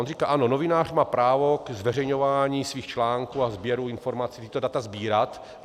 On říká ano, novinář má právo ke zveřejňování svých článků a sběru informací, tato data sbírat.